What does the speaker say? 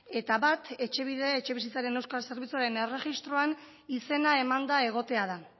eta bat etxebide etxebizitzaren euskal zerbitzuaren erregistroan izena emanda egotea da